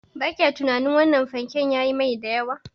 Ba kya tunanin wannan fanke yayi mai da yawa?